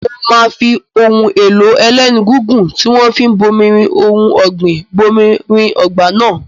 Mo máa fi ohun èlò ẹlẹ́nu gígùn tí wọ́n fi ń bomirin ohun ọ̀gbìn bomirin ọgbà náà.